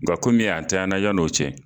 Nga kɔmi a tanɲanna yan' o cɛ